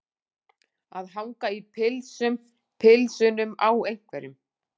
Að hanga í pilsum pilsunum á einhverjum